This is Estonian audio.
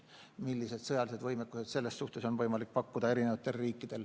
Uurime, milliseid sõjalisi võimekusi on eri riikidel võimalik pakkuda.